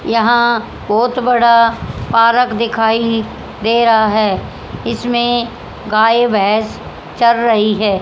यहां बोहोत बड़ा पार्क दिखाई दे रहा है इसमें गाय भैंस चर रही है।